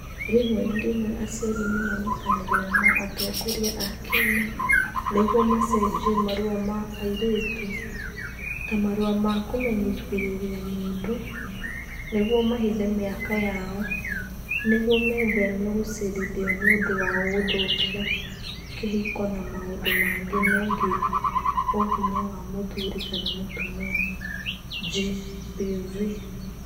Rĩmwe na rĩmwe aciari nĩ manyitanagĩra na atongoria a kĩama nĩguo macenjie marũa ma airĩtu (ta marũa ma kũmenyithĩria mũndũ) nĩguo mahithe mĩaka yao nĩguo metheme gũcirithio nĩ ũndũ wa gũthũkia kĩhiko na maũndũ mangĩ megiĩ Ũhinya wa Mũthuri kana Mũtumia (GBV).